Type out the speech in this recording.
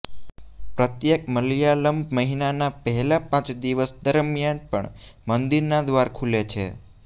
પ્રત્યેક મલયાલમ મહિનાના પહેલા પાંચ દિવસ દરમિયાન પણ મંદિરના દ્વાર ખૂલે છે